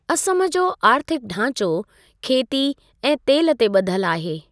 असम जो आर्थिक ढांचो खेती ऐं तेलु ते ॿधलु आहे।